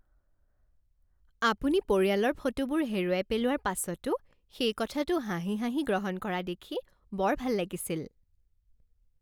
আপুনি পৰিয়ালৰ ফটোবোৰ হেৰুৱাই পেলোৱাৰ পাছতো সেই কথাটো হাঁহি হাঁহি গ্ৰহণ কৰা দেখি বৰ ভাল লাগিছিল।